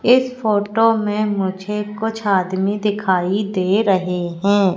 इस फोटो में मुझे कुछ आदमी दिखाई दे रहे हैं।